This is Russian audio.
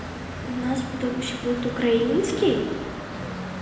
у нас потом ещё будет украинский